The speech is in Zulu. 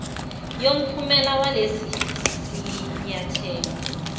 yomphumela walesi sinyathelo